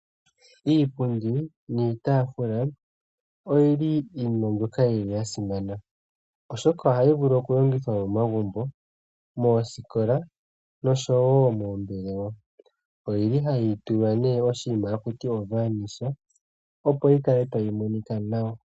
Iipundi niitafula oyili iinima mbyoka yasimana, oshoka ohayi longithwa momagumbo, moosikola, noshowo moombelewa. Oyili hayi tulwa ne oshinima hashi ithanwa o Varnish, opo yikale tayi monika nawa.